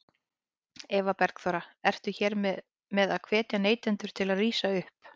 Eva Bergþóra: Ertu hér með að hvetja neytendur til að rísa upp?